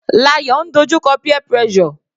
Layo ń dojú kọ peer pressure.